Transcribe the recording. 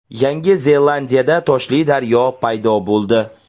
Yangi Zelandiyada toshli daryo paydo bo‘ldi .